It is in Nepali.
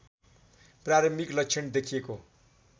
प्रारम्भिक लक्षण देखिएको